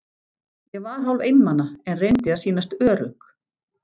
Ég var hálf einmana, en reyndi að sýnast ör- ugg.